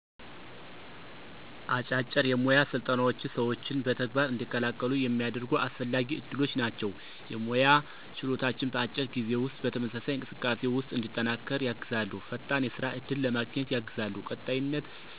አጫጭር የሞያ ስልጠናዎች ሰዎችን በተግባር እንዲቀላቀሉ የሚያደርጉ አስፈላጊ ዕድሎች ናቸው። የሞያ ችሎታን በአጭር ጊዜ ውስጥ በተመሳሳይ እንቅስቃሴ ውስጥ እንዲጠናከር ያግዛሉ። ፈጣን የስራ እድል ለማገኘት ያግዛሉ። ቀጣይነት ያለው እውቀት ይፈጥራሉ። እራስን በዕውቀት ና በጥበብ ያንጻሉ።